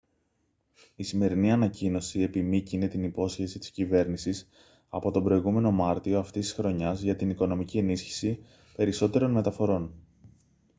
η σημερινή ανακοίνωση επιμύκηνε την υπόσχεση της κυβέρνησης από τον προηγούμενο μάρτιο αυτής της χρονιάς για την οικονομική ενίσχυση περισσότερων μεταφορών